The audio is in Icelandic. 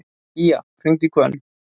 Gía, hringdu í Hvönn.